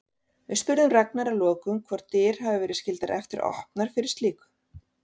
Við spurðum Ragnar að lokum hvort dyr hafi verið skyldar eftir opnar fyrir slíku?